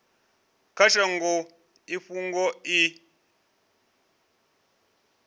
kha shango i fhungo i